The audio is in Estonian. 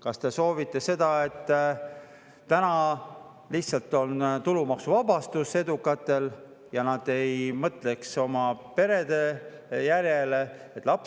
Kas te soovite seda, et on tulumaksuvabastus edukatele, ja seda, et nad ei mõtleks oma perele ja laste sünnile?